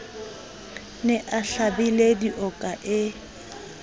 ne a hlabile dioka e